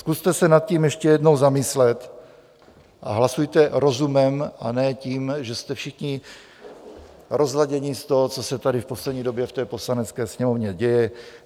Zkuste se nad tím ještě jednou zamyslet a hlasujte rozumem, a ne tím, že jste všichni rozladěni z toho, co se tady v poslední době v té Poslanecké sněmovně děje.